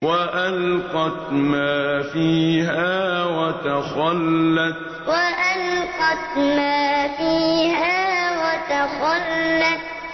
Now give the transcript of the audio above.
وَأَلْقَتْ مَا فِيهَا وَتَخَلَّتْ وَأَلْقَتْ مَا فِيهَا وَتَخَلَّتْ